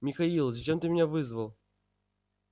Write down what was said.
михаил зачем ты меня вызвал